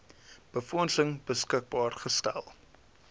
befondsing beskikbaar gestel